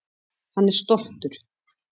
Hann er stoltur.